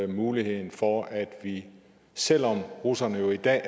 muligheden for at vi selv om russerne i dag